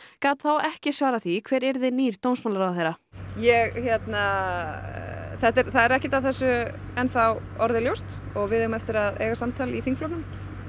gat þá ekki svarað því hver yrði nýr dómsmálaráðherra ég hérna það er ekkert af þessu enn þá orðið ljóst og við eigum eftir að eiga samtal í þingflokknum